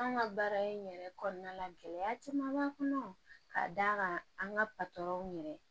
An ka baara in yɛrɛ kɔnɔna gɛlɛya caman b'a kɔnɔ ka d'a kan an ka yɛrɛ